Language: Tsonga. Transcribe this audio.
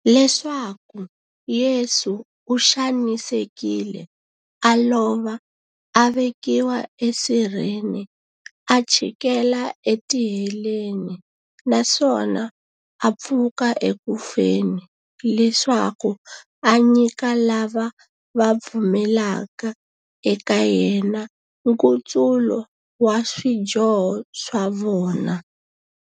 Leswaku Yesu u xanisekile, a lova, a vekiwa e sirheni, a chikela e tiheleni, naswona a pfuka eku feni, leswaku a nyika lava va pfumelaka eka yena, nkutsulo wa swidyoho swa vona.